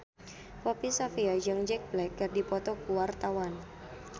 Poppy Sovia jeung Jack Black keur dipoto ku wartawan